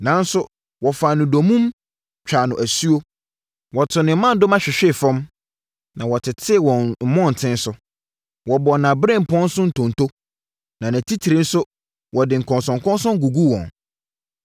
Nanso wɔfaa no dommum twaa no asuo. Wɔtoo ne mmadoma hwehwee fam ma wɔtetee wɔ mmɔntene so. Wɔbɔɔ nʼaberempɔn so ntonto, na nʼatitire nso wɔde nkɔnsɔnkɔnsɔn guguu wɔn.